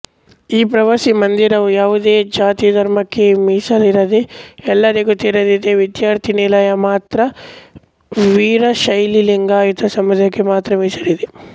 ಈ ಪ್ರವಾಸಿ ಮಂದಿರವು ಯಾವುದೇ ಜಾತಿಧರ್ಮಕ್ಕೆ ಮೀಸಲಿರದೇ ಎಲ್ಲರಿಗೂ ತೆರೆದಿದೆ ವಿಧ್ಯಾರ್ಥಿ ನಿಲಯ ಮಾತ್ರ ವೀರಶೈವಲಿಂಗಾಯತ ಸಮುದಾಯಕ್ಕೆ ಮಾತ್ರ ಮೀಸಲಿದೆ